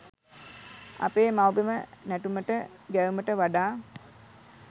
අපේ මව්බිම නැටුමට ගැයුමට වඩා